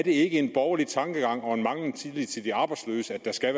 ikke er en borgerlig tankegang og mangel på tillid til de arbejdsløse at der skal